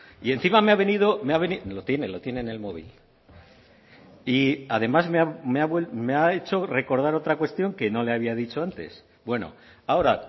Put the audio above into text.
y encima me ha venido lo tiene lo tiene en el móvil y además me ha hecho recordar otra cuestión que no le había dicho antes bueno ahora